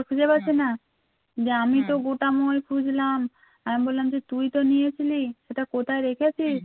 বুঝলাম আমি বললাম যে তুই তো নিয়েছিলি সেটা কোথায় রেখেছিস